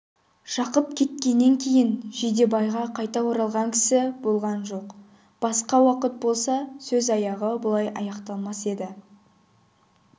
жақып кеткеннен кейін жидебайға қайта оралған кісі болған жоқ басқа уақыт болса сөз аяғы бұлай аяқталмас еді